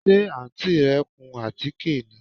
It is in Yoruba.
Ṣe Àǹtí rẹ ń kun àtíké ni?